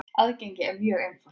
Aðgengið er mjög einfalt.